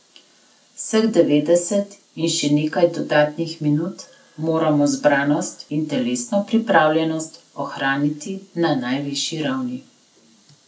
Vseh devetdeset in še nekaj dodatnih minut moramo zbranost in telesno pripravljenost ohraniti na najvišji ravni.